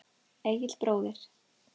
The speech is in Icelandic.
Egill bróðir.